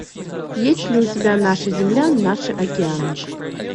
есть ли у тебя наша земля наши океаны